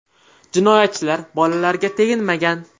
Jinoyatchilar bolalarga teginmagan.